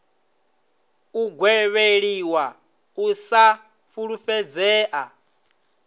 u gwevheliwa u sa fulufhedzea